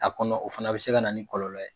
A kɔnɔ o fana bɛ se ka na ni kɔlɔlɔ ye